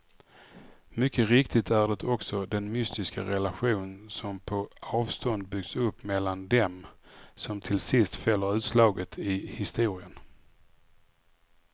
Mycket riktigt är det också den mystiska relation som på avstånd byggts upp mellan dem som till sist fäller utslaget i historien.